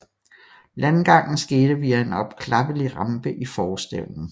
Landgangen skete via en opklappelig rampe i forstævnen